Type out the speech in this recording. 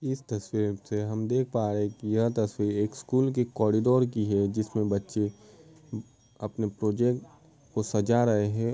इस तस्वीर से हम देख पा रहे है कि यह तस्वीर एक स्कूल की कॉरिडोर की है जिसमें बच्चे अपने प्रोजेक्ट को सजा रहे हैं।